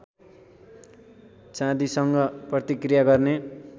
चाँदीसँग प्रतिक्रिया गर्ने